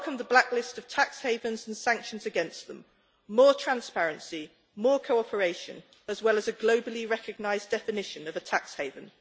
I welcome the blacklist of tax havens and sanctions against them, more transparency, more cooperation, as well as a globally recognised definition of a tax haven.